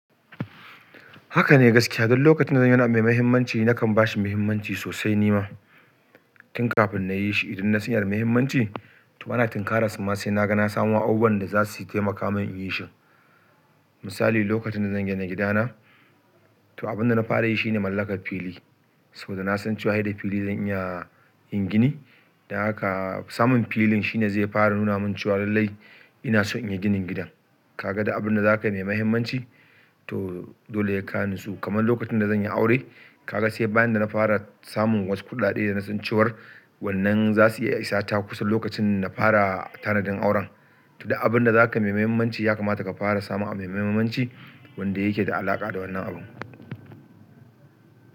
Haka ne gaskiya. Don lokacin da zan yi wani abu mai mahimmanci, nakan ba shi mahimmanci sosai ni ma. Tun kafin na yi shi, idan na san yana da mahimmanci, to bana tinkaran sa ma, sai na ga na samo abubuwan da za su taimaka min in yi shi. Misali, lokacin da zan gina gidana, to abin da na fara yi shi ne mallakar fili. Saboda na san cewa sai da fili zan iya yin gini. Don haka samun filin shi ne zai fara nuna min cewa lallai ina so in yi ginin gidan. Kaga, da abin da za ka yi mai mahimmanci, to dole sai ka nasu. Kamar lokacin da zan yi aure, ka ga sai bayan da na fara samun wassu kuɗaɗe da na san cewar wannan za su iya isa ta kusan lokacin da na fara tanadin auren. To duk abin da zaka yi mai muhimmanci, ya kamata ka fara samun abu mai muhimmanci, wanda yake da halaka da wannan abu.